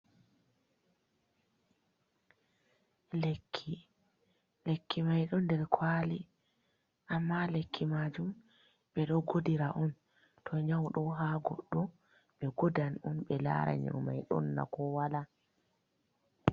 Lekki, lekki mai ɗo nder kwali amma lekki majum ɓe ɗo godira on, to nyau ɗo ha goɗɗo be godan on ɓe lara nyau mai don na ko wala.